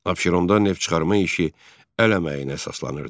Abşeronda neft çıxarma işi əl əməyinə əsaslanırdı.